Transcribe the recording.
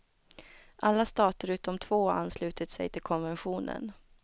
Alla stater utom två har anslutit sig till konventionen.